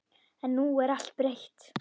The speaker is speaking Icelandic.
En nú er allt breytt.